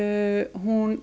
hún